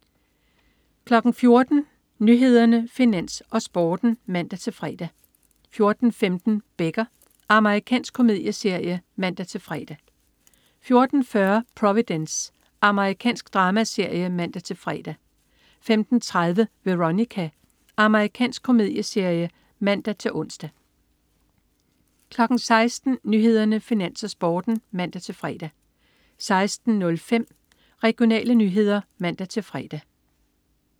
14.00 Nyhederne, Finans, Sporten (man-fre) 14.15 Becker. Amerikansk komedieserie (man-fre) 14.40 Providence. Amerikansk dramaserie (man-fre) 15.30 Veronica. Amerikansk komedieserie (man-ons) 16.00 Nyhederne, Finans, Sporten (man-fre) 16.05 Regionale nyheder (man-fre)